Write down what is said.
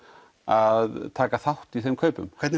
að taka þátt í þeim kaupum hvernig